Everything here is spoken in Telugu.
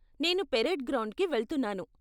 నేను పరేడ్ గ్రౌండ్కి వెళ్తున్నాను.